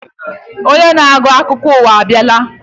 Onye na-agụ akụkọ ụwa abịala.